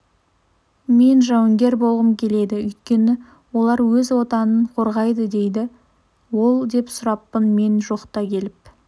мен жауынгер болғым келеді өйткені олар өз отанын қорғайды дейді ол деп сұраппын мен жоқта келіп